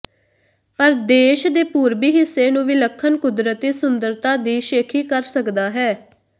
ਪਰ ਦੇਸ਼ ਦੇ ਪੂਰਬੀ ਹਿੱਸੇ ਨੂੰ ਵਿਲੱਖਣ ਕੁਦਰਤੀ ਸੁੰਦਰਤਾ ਦੀ ਸ਼ੇਖੀ ਕਰ ਸਕਦਾ ਹੈ